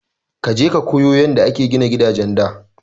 Kaje ka koyo yanda aka gina gidajen da!